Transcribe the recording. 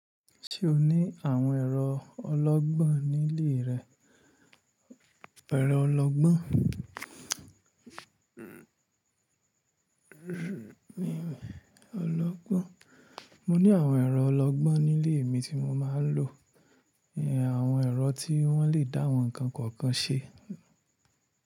Ṣé o ní àwọn ẹ̀rọ ọlọ́gbọ́n nílé rẹ? Ẹ̀rọ ọlọ́gbọ́n. Mọ ní àwọn ẹ̀rọ ọlọ́gbọ́n nílé mi tí mọ máa ń lò. Àwọn ẹ̀rọ tí wọ́n le dá àwọn ǹkan kọ̀ọ̀kan ṣe.